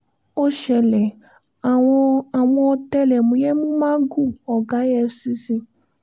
ó ṣẹlẹ̀ àwọn àwọn ọ̀tẹlẹ̀múyẹ́ mú magu ọ̀gá efcc